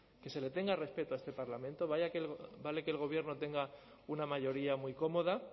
que se le tenga respeto a este parlamento vale que el gobierno tenga una mayoría muy cómoda